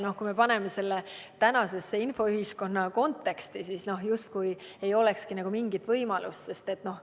" Kui me paneme selle tänase infoühiskonna konteksti, siis justkui ei olekski mingit võimalust.